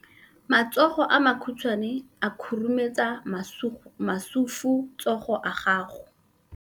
Matsogo a makhutshwane a khurumetsa masufutsogo a gago.